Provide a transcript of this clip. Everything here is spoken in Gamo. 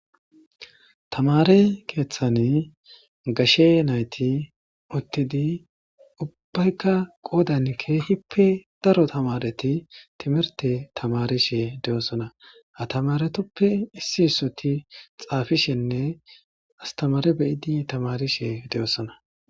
Thamaare keeththani gashe naythi uththidi ubbaykka qoodani keehippe daro thamaarethi thimirththe thamarishe de7osona; ha thamaaretuppe issi issothi xaafishenne asththamaare beyidi thamaarishe de7osona.